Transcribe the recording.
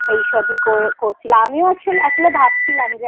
কাজে এই সবই করছিলাম আমিও আসলে ভাবছিলাম যে